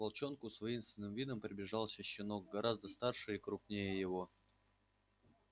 к волчонку с воинственным видом приближался щенок гораздо старше и круггнее его